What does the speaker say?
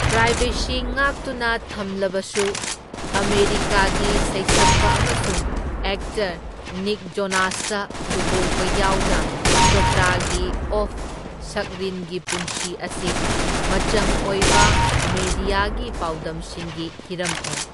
Privacy ꯉꯥꯛꯇꯨꯅ ꯊꯝꯂꯕꯁꯨ, ꯑꯃꯦꯔꯤꯀꯥꯒꯤ ꯁꯩꯁꯛꯄ ꯑꯃꯁꯨꯡ ꯑꯦꯛꯇꯔ ꯅꯤꯛ ꯖꯣꯅꯥꯁꯇ ꯂꯨꯍꯣꯡꯕ ꯌꯥꯎꯅ ꯆꯣꯄ꯭ꯔꯥꯒꯤ ꯑꯣꯐ ꯁꯛꯔꯤꯟꯒꯤ ꯄꯨꯟꯁꯤ ꯑꯁꯤ ꯃꯆꯪ ꯑꯣꯢꯕ ꯃꯦꯗꯤꯌꯥꯒꯤ ꯄꯥꯎꯗꯝꯁꯤꯡꯒꯤ ꯍꯤꯔꯝ ꯑꯣꯢ꯫